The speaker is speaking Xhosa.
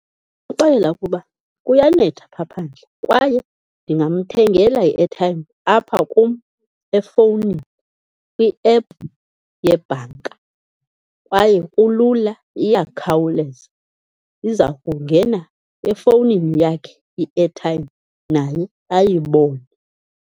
Ndingamxelela ukuba kuyanetha phaa phandle kwaye ndingamthengela i-airtime apha kum efowunini kwi-app yebhanka kwaye kulula, iyakhawuleza. Iza kungena efowunini yakhe i-airtime naye ayibone.